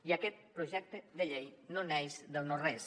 i aquest projecte de llei no neix del no res